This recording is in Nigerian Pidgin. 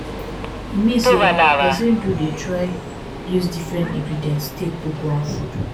e mean say persin do de try use different ingredients take cook one food